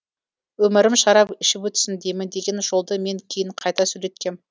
өмірім шарап ішіп өтсін деймін деген жолды мен кейін қайта сөйлеткем